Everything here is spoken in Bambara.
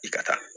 I ka taa